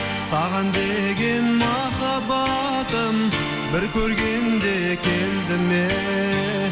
саған деген махаббатым бір көргенде келді ме